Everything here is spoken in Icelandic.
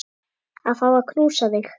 Að fá að knúsa þig.